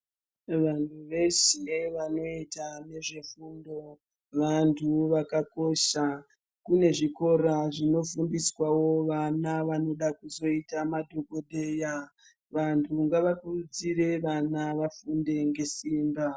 Vantu veshe vanoita nezvefundo vantu vakakosha kune zvikora zvinofundiswavo vana vanoda kuzoita madhogodheya. Vantu ngavakurudzire vana vafunde ngesimba.